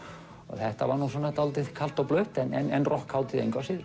þetta var nú dálítið kalt og blautt en rokkhátíð engu að síður